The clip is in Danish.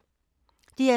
DR2